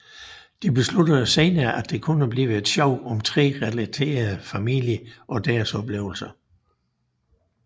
De besluttede senere at det kunne blive et show om tre relaterede familier og deres oplevelser